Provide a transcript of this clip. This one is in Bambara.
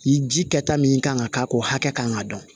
Ni ji kɛta min kan ka k'a ko hakɛ kan k'a dɔn